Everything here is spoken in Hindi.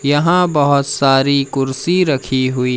यहां बहोत सारी कुर्सी रखी हुई--